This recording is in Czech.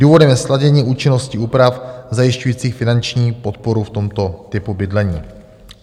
Důvodem je sladění účinnosti úprav zajišťujících finanční podporu v tomto typu bydlení.